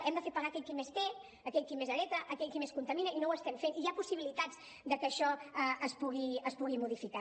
hem de fer pagar aquell qui més té aquell qui més hereta aquell qui més contamina i no ho estem fent i hi ha possibilitats de que això es pugui modificar